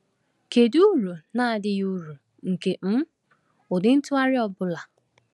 Kedu uru na adịghị uru nke um ụdị ntụgharị ọ bụla?